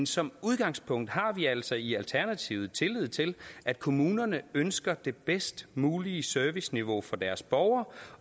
som udgangspunkt har vi altså i alternativet tillid til at kommunerne ønsker det bedst mulige serviceniveau for deres borgere